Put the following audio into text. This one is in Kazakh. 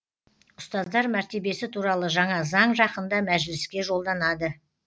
ұстаздар мәртебесі туралы жаңа заң жақында мәжіліске жолданады